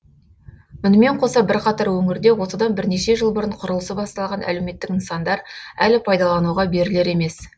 мұнымен қоса бірқатар өңірде осыдан біренеше жыл бұрын құрылысы басталған әлеуметтік нысандар әлі пайдалануға берілер емес